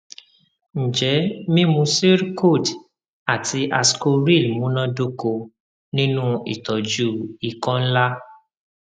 njẹ mimu zyrcold ati ascoril munadoko ninu itọju ikọ nla